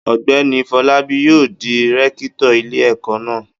Ọ̀gbẹ́ni Fọlábí yóò di rẹ́kítọ̀ ilé-ẹ̀kọ́ náà.